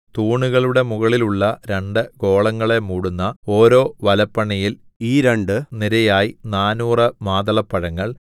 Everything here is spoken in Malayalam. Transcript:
തൂണുകളുടെ മുകളിലുള്ള രണ്ടു ഗോളങ്ങളെ മൂടുന്ന ഓരോ വലപ്പണിയിൽ ഈ രണ്ടു നിരയായി നാനൂറ് മാതളപ്പഴങ്ങൾ